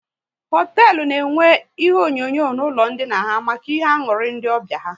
Hoteelu na enwe ihe onyonyo n'ụlọ ndina ha maka ihe aṅụrị ndị ọbịa ha